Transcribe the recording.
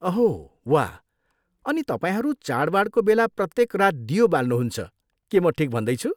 अहो वाह। अनि तपाईँहरू चाडवाडको बेला प्रत्येक रात दियो बाल्नुहुन्छ, के म ठिक भन्दैछु?